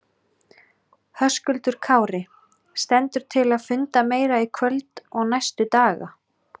Höskuldur Kári: Stendur til að funda meira í kvöld og næstu daga?